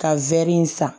Ka wɛri in san